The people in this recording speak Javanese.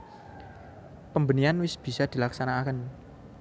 Pembenihan wis bisa dilaksanakaké